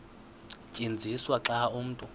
tyenziswa xa umntu